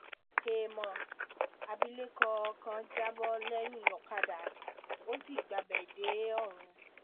héèmọ̀ abilékọ kan já bọ́ lẹ́yìn ọ̀kadà ó sì gbabẹ̀ dè ọ̀run